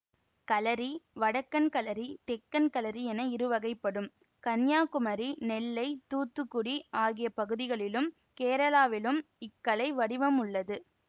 களரி வடக்கன் களரி தெக்கன் களரி என இருவகைப்படும் கன்னியாகுமரி நெல்லை தூத்துகுடி ஆகிய பகுதிகளிலும் கேரளாவிலும் இக்கலை வடிவம் உள்ளது